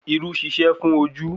Irú ń ṣiṣẹ́ fún ojú